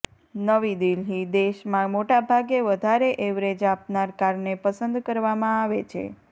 નવી દિલ્હીઃ દેશમાં મોટાભાગે વધારે એવરેજ આપનાર કારને પસંદ કરવામાં આવે છે